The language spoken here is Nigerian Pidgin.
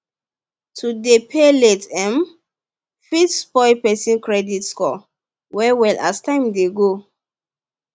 to dey pay late um fit spoil person credit score well well as time dey go